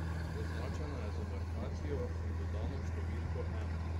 Označena je z markacijo in dodano številko ena.